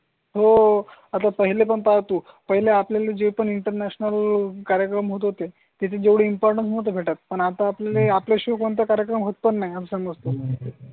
हो आता पहिले पण पाहतो. पहिल्या आपल्याला जे पण इंटरनॅशनल कार्यक्रम होत होते तिथे जेवढी इम्पॉर्टन्ट नव्हती भेटत. पण आता आपल्याला आपल्या शो कोणता कार्यक्रम होत पण नाही आमच्या मग तुम्ही.